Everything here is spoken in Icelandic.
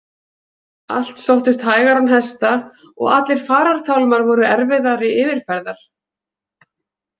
Allt sóttist hægar án hesta, og allir farartálmar voru erfiðari yfirferðar.